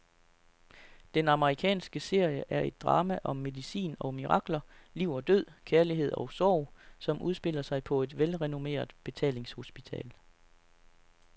Den amerikanske serie er et drama om medicin og mirakler, liv og død, kærlighed og sorg, som udspiller sig på et velrenommeret betalingshospital.